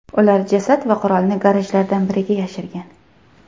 Ular jasad va qurolni garajlardan biriga yashirgan.